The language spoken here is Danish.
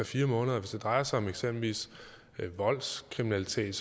fire måneder hvis det drejer sig om eksempelvis voldskriminalitet